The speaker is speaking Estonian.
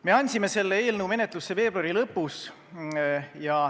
Me andsime selle eelnõu menetlusse veebruari lõpus.